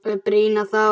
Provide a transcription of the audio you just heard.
Eða brýna þá!